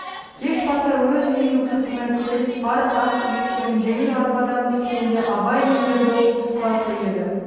кеш бата өз үйінің сыртына келіп пар ат жеккен жеңіл арбадан түскенде абай мен ербол тыста тұр еді